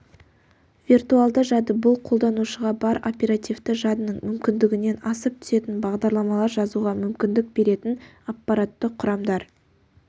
виртуалды жады бұл қолданушыға бар оперативті жадының мүмкіндігінен асып түсетін бағдарламалар жазуға мүмкіндік беретін аппаратты құрамдар